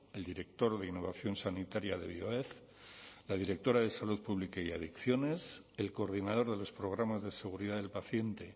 el director de innovación sanitaria de bioef la directora de salud pública y adicciones el coordinador de los programas de seguridad del paciente